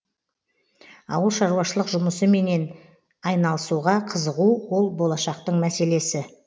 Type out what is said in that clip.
ауылшаруашылық жұмысыменен айналысуға қызығу ол болашақтың мәселесі